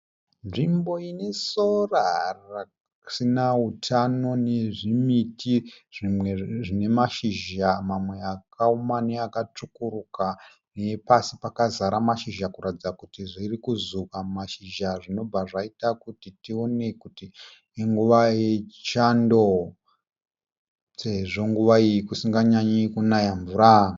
Nzvimbo ine sora risina hutano nezvimiti zvimwe zvine mashizha mamwe akaoma nekutsvukuruka nepasi pakazara mashizha kuratidza kuti zviri kuzuka mashizha zvinobva zvaita kuti tione kuti inguva yechando sezvo nguva iyi kusinganyanyi kunaya mvura.